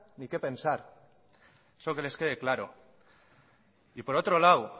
ni qué pensar eso que les quede claro y por otro lado